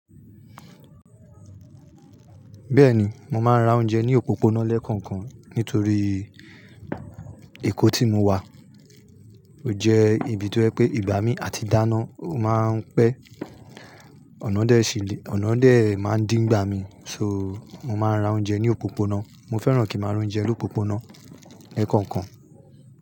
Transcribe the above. Bẹ́ẹ̀ni, mo máa ń ra oúnjẹ ní òpópónà lẹ́kọ̀ọ̀kan nítorí èkó tí mo wà ó jẹ́ ibi tó ń pé ìgbà mí àti dáná. Ó máa ń pẹ́, ọ̀nà ọ̀dẹ́ sì lé, ọ̀nà ọ̀dẹ́ máa ń dí ìgbà mi. So, mo máa ń ra oúnjẹ ní òpópónà. Mo fẹ́ràn kí ń máa ra oúnjẹ lópópónà lẹ́kọ̀ọ̀kan.